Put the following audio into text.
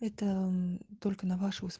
это только на